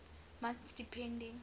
months depending